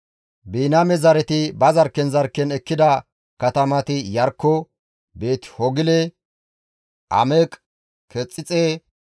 Biniyaame zareti ba zarkken zarkken ekkida katamati Iyarkko, Beeti-Hoogile, Ameq-Kexixe,